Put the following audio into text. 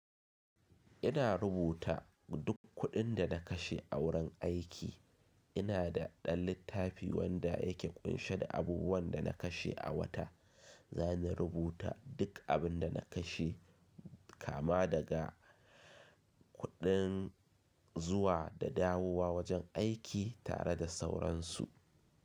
Ina rubuta duk kuɗin da na kashe a wurin aiki. Ina da ɗan littafi wanda yake ƙunshe da abubuwan da na kashe a wata. Za na rubuta duk abin da na kashe kama daga kuɗin zuwa da dawowa wajen aiki tare da sauransu.